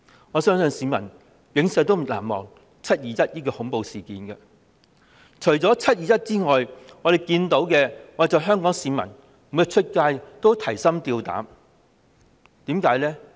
我相信香港市民永遠難忘"七二一"恐怖事件，而除了"七二一"外，我們看到他們每天外出也提心吊膽，為甚麼呢？